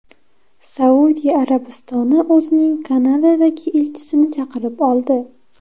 Saudiya Arabistoni o‘zining Kanadadagi elchisini chaqirib oldi.